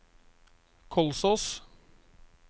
Kolsås